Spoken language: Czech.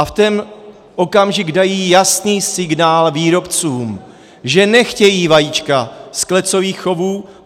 A v ten okamžik dají jasný signál výrobcům, že nechtějí vajíčka z klecových chovů.